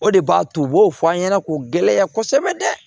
O de b'a to u b'o fɔ an ɲɛna k'u gɛlɛya kosɛbɛ dɛ